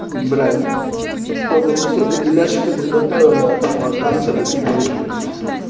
бля вот кто бы мне сегодня беляшики приготовил я тому отдамся блять навеки нахуй